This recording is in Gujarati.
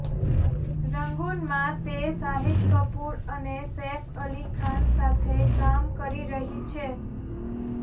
રંગુનમાં તે શાહિદ કપુર અને સેફ અલી ખાન સાથે કામ કરી રહી છે